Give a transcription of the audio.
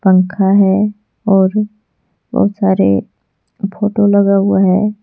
पंखा है और बहोत सारे फोटो लगा हुआ है।